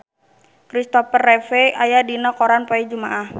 Christopher Reeve aya dina koran poe Jumaah